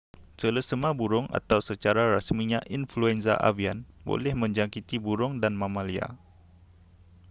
selesema burung atau secara rasminya influenza avian boleh menjangkiti burung dan mamalia